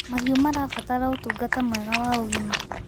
Mahĩũ marabatara ũtũngata mwega wa ũgĩma